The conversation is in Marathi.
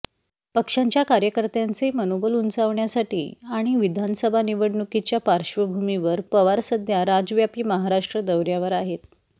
पक्षाच्या कार्यकर्त्यांचे मनोबल उंचावण्यासाठी आणि विधानसभा निवडणुकीच्या पार्श्वभूमीवर पवार सध्या राज्यव्यापी महाराष्ट्र दौर्यावर आहेत